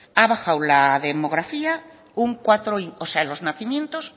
ha bajado la demografía los nacimientos